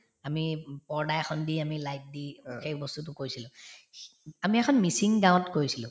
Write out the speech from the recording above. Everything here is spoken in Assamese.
আমি ও পৰ্দা এখন দি আমি light দি সেই বস্তুতো কৰিছিলো আমি এখন মিছিং গাওঁত কৰিছিলো